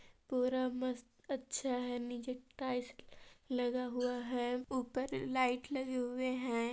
पूरा मस्त अच्छा है नीचे टाइल्स लगा हुआ है ऊपर लाइट लगे हुए है।